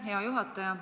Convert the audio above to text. Hea juhataja!